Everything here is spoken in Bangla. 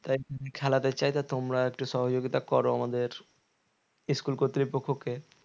তোমরা একটু সহযোগিতা করো আমাদের school কর্তৃপক্ষকে